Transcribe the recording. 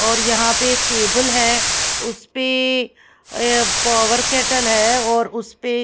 और यहां पे एक टेबल है उस पे पावर कैटल है और उस पे--